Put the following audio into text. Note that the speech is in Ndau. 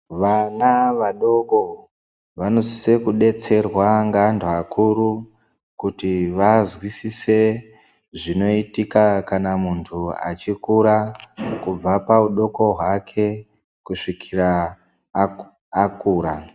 Vana vadoko vanosise kubetserwa ngeanhu akuru kuti vazwisise zvinoitika kana muntu achikura kubva paudoko hwake kusvikira akura .